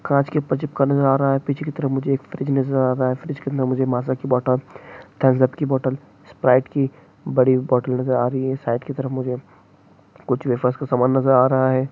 कांच के पाइप से कुछ चिपका हुआ नजर आ रहा है पीछे की तरफ मुझे एक फ्रिज नजर आता है फ्रिज कितना मुझे मज़ा की बोतल स्प्राइट की बड़ी बोतल से आ रही है साइड की तरफ मुझे कुछ वेफर्स का सामान नजर आ रहा है